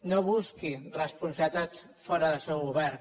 no busqui responsabilitats fora del seu govern